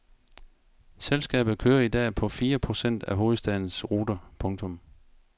Selskabet kører i dag på fire procent af hovedstadens ruter. punktum